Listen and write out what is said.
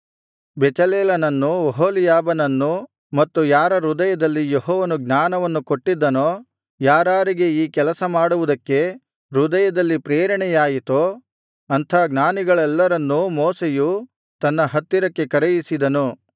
ಬೆಚಲೇಲನನ್ನೂ ಒಹೋಲೀಯಾಬನನ್ನೂ ಮತ್ತು ಯಾರ ಹೃದಯದಲ್ಲಿ ಯೆಹೋವನು ಜ್ಞಾನವನ್ನು ಕೊಟ್ಟಿದ್ದನೋ ಯಾರಾರಿಗೆ ಈ ಕೆಲಸಮಾಡುವುದಕ್ಕೆ ಹೃದಯದಲ್ಲಿ ಪ್ರೇರಣೆಯಾಯಿತೋ ಅಂಥ ಜ್ಞಾನಿಗಳೆಲ್ಲರನ್ನೂ ಮೋಶೆಯು ತನ್ನ ಹತ್ತಿರಕ್ಕೆ ಕರೆಯಿಸಿದನು